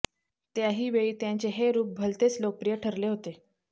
त्याही वेळी त्यांचे हे रुप भलतेच लोकप्रिय ठरले होते